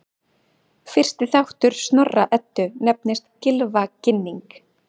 Fyrsti þáttur Snorra-Eddu nefnist Gylfaginning.